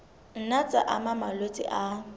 nna tsa ama malwetse a